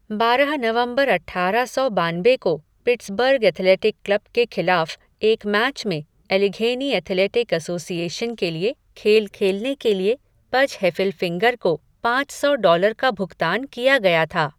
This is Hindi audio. बारह नवंबर अट्ठारह सौ बानबे को पिट्सबर्ग एथलेटिक क्लब के खिलाफ़ एक मैच में एलेघेनी एथलेटिक एसोसिएशन के लिए खेल खेलने के लिए पज हेफ़िलफ़िंगर को पाँच सौ डॉलर का भुगतान किया गया था।